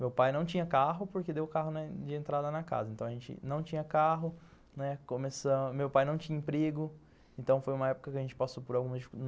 Meu pai não tinha carro porque deu carro de entrada na casa, então a gente não tinha carro, né, comemeu pai não tinha emprego, então foi uma época que a gente passou por algumas